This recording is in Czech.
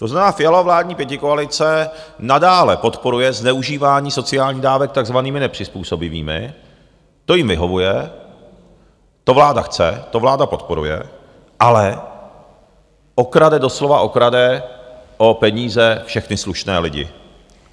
To znamená, Fialova vládní pětikoalice nadále podporuje zneužívání sociálních dávek takzvanými nepřizpůsobivými, to jim vyhovuje, to vláda chce, to vláda podporuje, ale okrade, doslova okrade o peníze všechny slušné lidi.